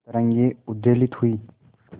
तरंगे उद्वेलित हुई